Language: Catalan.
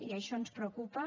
i això ens preocupa